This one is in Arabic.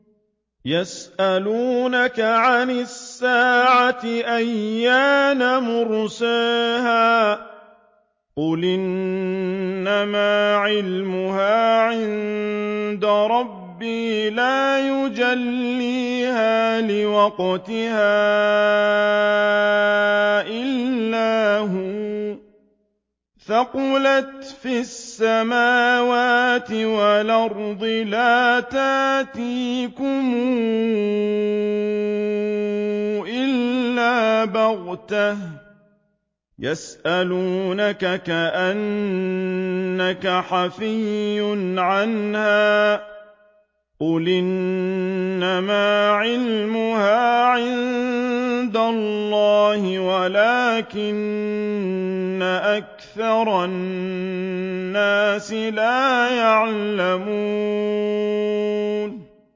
يَسْأَلُونَكَ عَنِ السَّاعَةِ أَيَّانَ مُرْسَاهَا ۖ قُلْ إِنَّمَا عِلْمُهَا عِندَ رَبِّي ۖ لَا يُجَلِّيهَا لِوَقْتِهَا إِلَّا هُوَ ۚ ثَقُلَتْ فِي السَّمَاوَاتِ وَالْأَرْضِ ۚ لَا تَأْتِيكُمْ إِلَّا بَغْتَةً ۗ يَسْأَلُونَكَ كَأَنَّكَ حَفِيٌّ عَنْهَا ۖ قُلْ إِنَّمَا عِلْمُهَا عِندَ اللَّهِ وَلَٰكِنَّ أَكْثَرَ النَّاسِ لَا يَعْلَمُونَ